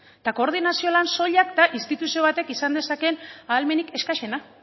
eta koordinazio lan soilak da instituzio batek izan dezakeen ahalmenik exkaxena